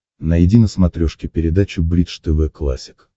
найди на смотрешке передачу бридж тв классик